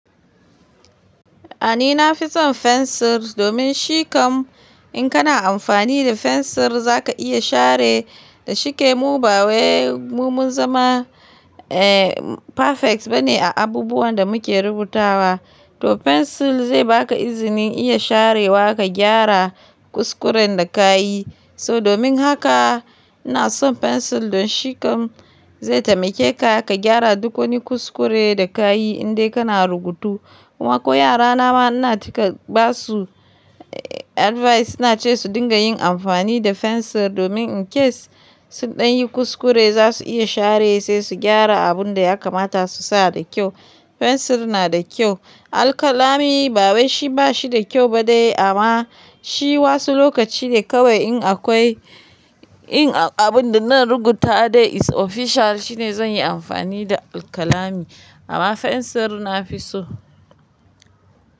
A ni na fi son fensir, domin shi kam in kana amfani da fensir za ka iya share Da shike mu ba wai, mu mun zama, eh, perfect bane a abubuwan da muke rubutawa. To fensil zai baka izinin iya sharewa ka gyara kuskuren da ka yi, So domin haka, ina son fensil don shi kam zai taimake ka, ka gyara duk wani kuskure da ka yi indai kana rubutu. Kuma ko yara na ma ina cika basu advice, ina ce su dinga yin amfani da fensil, domin in case, sun ɗan yi kuskure za su iya share sai su gyara abun da ya kamata su sa da kyau. Fensil na da kyau. Alƙalami, bawai shi ba shi da kyau ba dai amma shi wasu lokaci ne kawai in akwai, in abun da na rubuta dai is official shine zan yi amfani da alƙalami. Amma fensil na fi so.